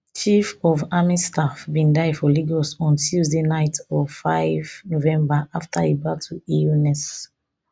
chief of army staff bin die for lagos on tuesday night of five november afta e battle illness